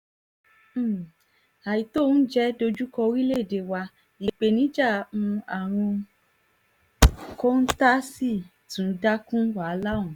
um àìtó oúnjẹ dojú kọ orílẹ̀‐èdè wa ìpèníjà um àrùn kọ́ńtà sì tún dá kún wàhálà ọ̀hún